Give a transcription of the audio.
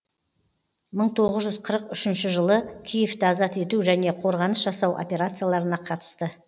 мың тоғыз жүз қырық үшінші жылы киевті азат ету және қорғаныс жасау операцияларына қатысты